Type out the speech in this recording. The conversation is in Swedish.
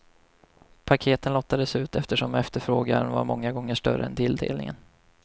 Paketen lottades ut eftersom efterfrågan var många gånger större än tilldelningen.